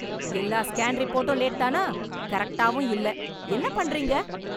எல்லா ஸ்கேன் ரிப்போர்ட்டும் லேட் தானா? கரெக்ட்டாவும் இல்லை. என்ன பண்ணறீங்க?